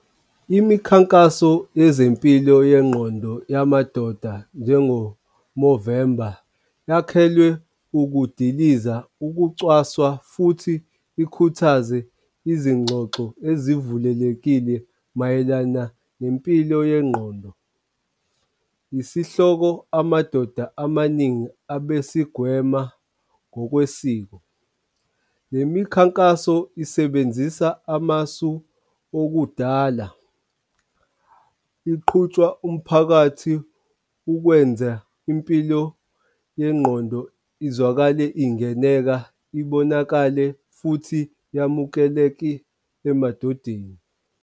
Imikhankaso yezempilo yengqondo yamadoda njengo November yakhelwe ukudiliza ukucwaswa, futhi ikhuthaze izingxoxo ezivulelekile mayelana nempilo yengqondo. Isihloko amadoda amaningi abesigwema ngokwesiko. Le mikhankaso isebenzisa amasu okudala iqhutshwa umphakathi ukwenze impilo yengqondo izwakale, ingeneka, ibonakale futhi yamukeleke emadodeni.